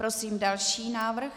Prosím další návrh.